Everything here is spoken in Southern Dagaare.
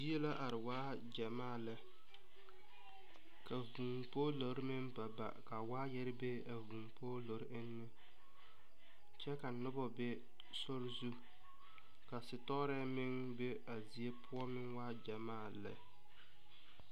Yie la a are waa gyamaa lɛ. Ka vuu poɔlore meŋ baba ka waayare be a vuu poɔlore eŋe. Kyɛ ka nobɔ be sori zu. Ka sitoorɛ meŋ be a zie poʊ meŋ waa gyamaa lɛ